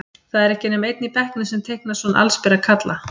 Það er ekki nema einn í bekknum sem teiknar svona allsbera kalla.